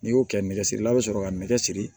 N'i y'o kɛ nɛgɛsirilaw bɛ sɔrɔ ka nɛgɛ siri